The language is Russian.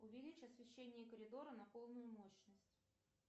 увеличь освещение коридора на полную мощность